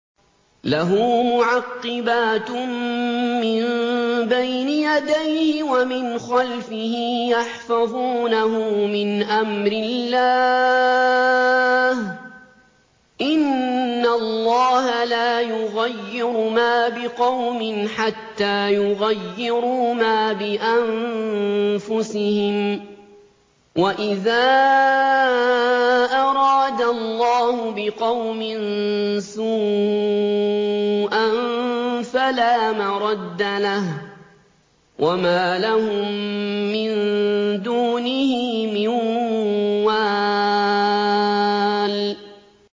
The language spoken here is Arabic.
لَهُ مُعَقِّبَاتٌ مِّن بَيْنِ يَدَيْهِ وَمِنْ خَلْفِهِ يَحْفَظُونَهُ مِنْ أَمْرِ اللَّهِ ۗ إِنَّ اللَّهَ لَا يُغَيِّرُ مَا بِقَوْمٍ حَتَّىٰ يُغَيِّرُوا مَا بِأَنفُسِهِمْ ۗ وَإِذَا أَرَادَ اللَّهُ بِقَوْمٍ سُوءًا فَلَا مَرَدَّ لَهُ ۚ وَمَا لَهُم مِّن دُونِهِ مِن وَالٍ